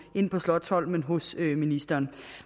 ind på slotsholmen hos ministeren